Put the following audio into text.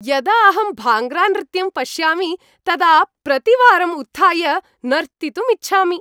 यदा अहं भाङ्ग्रानृत्यं पश्यामि तदा प्रतिवारम् उत्थाय नर्तितुम् इच्छामि।